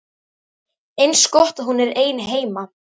Eins gott að hún er ein heima.